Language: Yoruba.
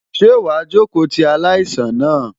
Ṣé wàá jókòó ti aláìsàn náà?